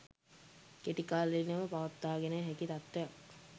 කෙටිකාලිනව පවත්වාගෙන හැකි තත්ත්වයක්